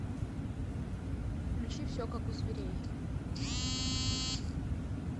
включи все как у зверей